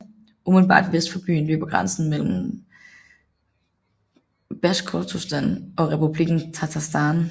Umiddelbart vest for byen løber grænsen mellem Basjkortostan og Republikken Tatarstan